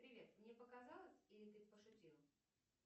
привет мне показалось или ты пошутил